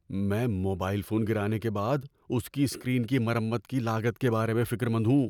میں mobile phone گرانے کے بعد اس کی اسکرین کی مرمت کی لاگت کے بارے میں فکر مند ہوں۔